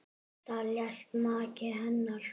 Þar lést maki hennar.